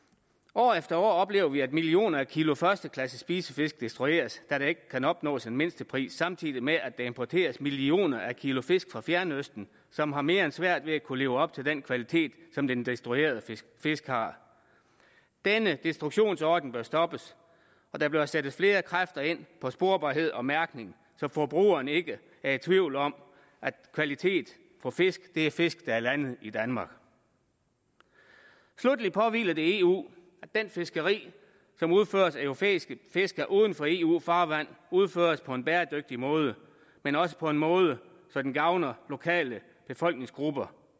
år efter år oplever vi at millioner af kilo førsteklasses spisefisk destrueres da der ikke kan opnås en mindstepris samtidig med at der importeres millioner af kilo fisk fra fjernøsten som har mere end svært ved at kunne leve op til den kvalitet som den destruerede fisk fisk har denne destruktionsordning bør stoppes og der bør sættes flere kræfter ind på sporbarhed og mærkning så forbrugerne ikke er i tvivl om at kvalitet for fisk er fisk der er landet i danmark sluttelig påhviler det eu at det fiskeri som udføres af europæiske fiskere uden for eu farvand udføres på en bæredygtig måde men også på en måde så den gavner lokale befolkningsgrupper